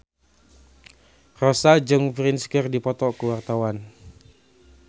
Rossa jeung Prince keur dipoto ku wartawan